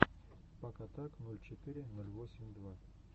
пак атак ноль четыре ноль восемь два